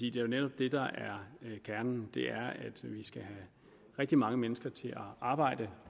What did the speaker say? er jo netop det der er kernen at vi skal have rigtig mange mennesker til at arbejde